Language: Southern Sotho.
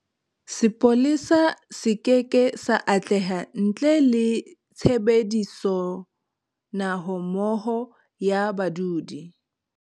Sepolesa se keke sa atleha ntle le tshebedisonahommoho ya badudi.